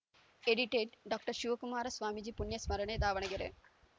edited doctor Shivakumara Swamiji ಪುಣ್ಯಸ್ಮರಣೆ ದಾವಣಗೆರೆ